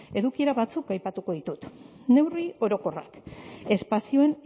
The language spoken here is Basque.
edukiera batzuk aipatuko ditut neurri orokorrak espazioen